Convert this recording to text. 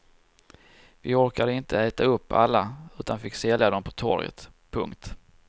Vi orkade inte äta upp alla utan fick sälja dom på torget. punkt